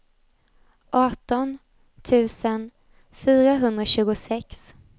arton tusen fyrahundratjugosex